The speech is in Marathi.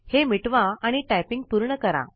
हे मिटवा आणि टाइपिंग पूर्ण करा